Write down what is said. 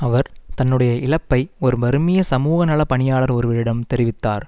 அவர் தன்னுடைய இழப்பை ஒரு பர்மிய சமூக நல பணியாளர் ஒருவரிடம் தெரிவித்தார்